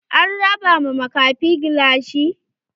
An raba ma makafin gilashi?